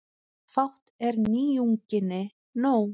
Fátt er nýjunginni nóg.